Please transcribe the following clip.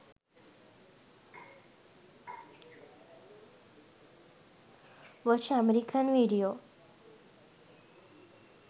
watch american video